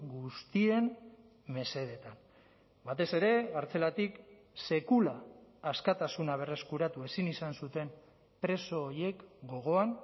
guztien mesedetan batez ere kartzelatik sekula askatasuna berreskuratu ezin izan zuten preso horiek gogoan